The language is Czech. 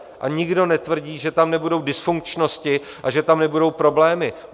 A nikdo netvrdí, že tam nebudou dysfunkčnosti a že tam nebudou problémy.